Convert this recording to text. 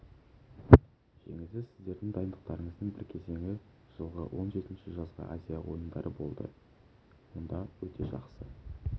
жемісі сіздердің дайындықтарыңыздың бір кезеңі жылғы он жетінші жазғы азия ойындары болды онда өте жақсы